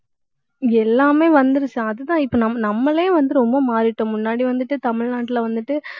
எல்லாமே வந்திருச்சு அதுதான் இப்ப நம்~ நம்மளே வந்து ரொம்ப மாறிட்டோம். முன்னாடி வந்துட்டு தமிழ்நாட்டுல வந்துட்டு